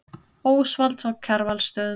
Ósvalds á Kjarvalsstöðum.